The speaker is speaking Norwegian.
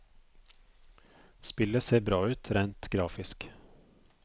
Spillet ser bra ut rent grafisk.